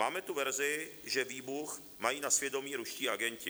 Máme tu verzi, že výbuch mají na svědomí ruští agenti.